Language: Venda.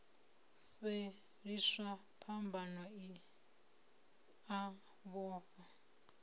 fhelisa phambano i a vhofha